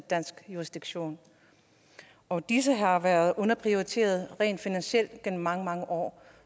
dansk jurisdiktion og disse har været underprioriteret rent finansielt gennem mange mange år